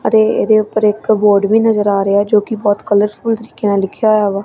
ਅਤੇ ਏਹਦੇ ਊਪਰ ਇੱਕ ਬੋਰਡ ਵੀ ਨਜ਼ਰ ਆ ਰਿਹਾ ਹੈ ਜੋਕਿ ਬੋਹੁਤ ਕਲਰਫੁਲ ਤਰੀਕੇ ਨਾਲ ਲਿਖਿਆ ਹੋਏਆ ਵਾ।